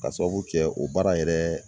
Ka sababu kɛ o baara yɛrɛ